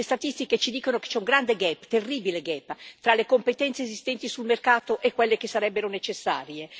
Le statistiche ci dicono che c'è un grande, terribile gap tra le competenze esistenti sul mercato e quelle che sarebbero necessarie.